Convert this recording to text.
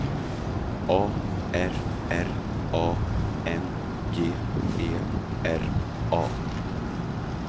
A R R A N G E R A